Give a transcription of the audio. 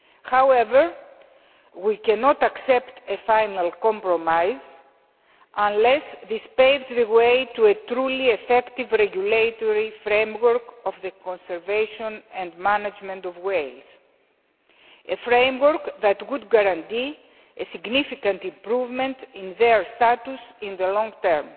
However, we cannot accept a final compromise unless this paves the way for a truly effective regulatory framework of the conservation and management of whales, a framework that would guarantee a significant improvement in their status in the long term.